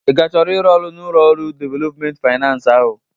Ị ka chọrọ ịrụ ọrụ n'ụlọ ọrụ developmenti faynans ahụ?